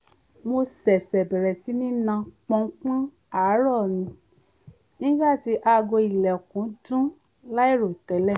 mo ṣẹ̀ṣẹ̀ bẹ̀rẹ̀ sí ní nà pọ̀npọ̀n àárọ̀ ni nígbà tí aago ìlẹ̀kùn dún láìròtẹ́lẹ̀